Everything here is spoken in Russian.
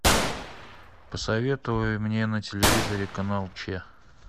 посоветуй мне на телевизоре канал че